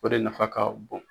O de nafa ka bon.